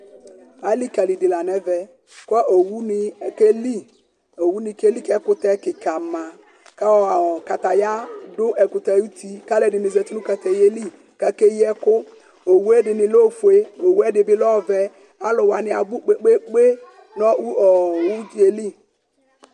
alïkali dï la nɛvɛ kɔ owunï akeli owu ni kéli ƙɛkũtɛ ƙïkã mä kɔɔ katayä ɛkũtẽ ayutị ka luẽdini zatï nũ katayaeli kakeyi ẽkũ owue dini lɛ ofue owué ɛdïbï lɛ ɔvɛ alũania bʊ kpekpekpé nɔ ũ ɔɔ ũdzéeli